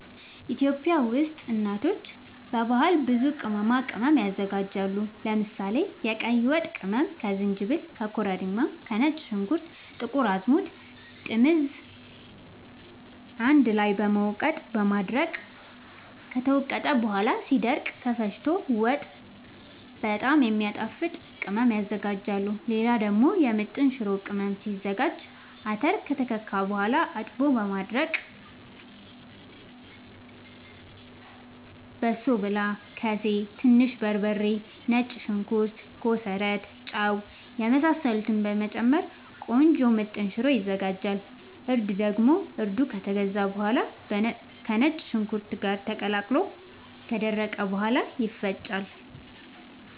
ኢትዮጵያ ውስጥ እናቶች በባህል ብዙ ቅመማ ቅመም ያዘጋጃሉ። ለምሳሌ፦ የቀይ ወጥ ቅመም ከዝንጅብል፣ ከኮረሪማ፣ ከነጭ ሽንኩርት፣ ጥቁር አዝሙድ፣ ጥምዝ አንድ ላይ በመውቀጥ በማድረቅ ከተወቀጠ በኋላ ሲደርቅ ተፈጭቶ ወጥ በጣም የሚያጣፋጥ ቅመም ያዝጋጃሉ። ሌላ ደግሞ የምጥን ሽሮ ቅመም ሲዘጋጅ :- አተር ከተከካ በኋላ አጥቦ በማድረቅ በሶብላ፣ ከሴ፣ ትንሽ በርበሬ፣ ነጭ ሽንኩርት፣ ኮሰረት፣ ጫው የመሳሰሉትን በመጨመር ቆንጆ ምጥን ሽሮ ይዘጋጃል። እርድ ደግሞ እርዱ ከተገዛ በኋላ ከነጭ ሽንኩርት ጋር ተቀላቅሎ ከደረቀ በኋላ ይፈጫል።